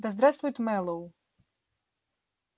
да здравствует мэллоу